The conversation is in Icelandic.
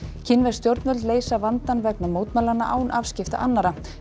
kínversk stjórnvöld leysa vandann vegna mótmælanna án afskipta annarra